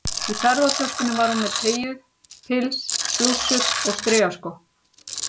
Í ferðatöskunni var hún með teygju- pils, blússur og strigaskó.